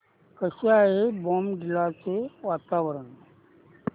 कसे आहे बॉमडिला चे वातावरण